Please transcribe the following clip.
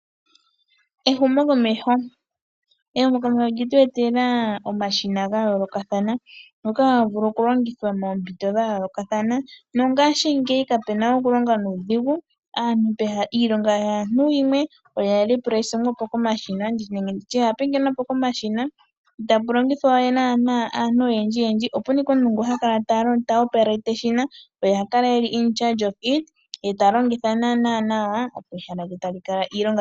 Ehumokomeho, ehumokomeho olyetu etela omashina gayolokathana. Ngoka haga vulu okulongithwa moompito dha yolokathana. Nongashingeyi kape nawe okulonga nuudhingu. Iilongo yaantu yimwe oya pingenwapo komashina. Itapu longithwa we aantu oyendji yendji opun ashike omuntu ngu ha kala ta longitha eshina. Oye ha kala omukateli komeho.